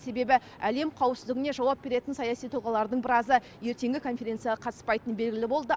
себебі әлем қауіпсіздігіне жауап беретін саяси тұлғалардың біразы ертеңгі конференцияға қатыспайтыны белгілі болды